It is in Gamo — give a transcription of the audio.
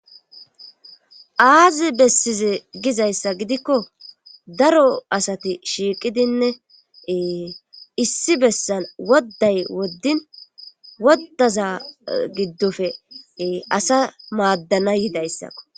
aazi bessize gizayssa gidikko daro asati shiiqidinnee issi bessan wodday woddin woddaza giddofe asa maaddana yidayssakko